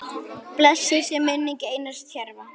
Blessuð sé minning Einars Tjörva.